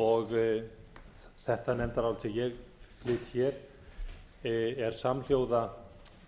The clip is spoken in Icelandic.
og þetta nefndarálit sem ég flyt er samhljóða